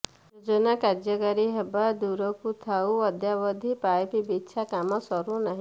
ଯୋଜନା କାର୍ଯ୍ୟକାରୀ ହେବା ଦୂରକୁ ଥାଉ ଅଦ୍ୟାବଧି ପାଇପ୍ ବିଛା କାମ ସରୁନାହିଁ